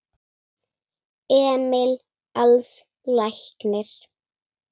Emil Als læknir.